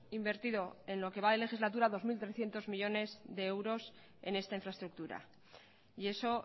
invertido en lo que va de legislatura dos mil trescientos millónes de euros en esta infraestructura y eso